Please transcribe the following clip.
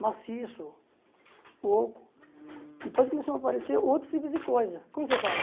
maciço, oco, depois começaram a aparecer outros tipos de coisa, como você fala?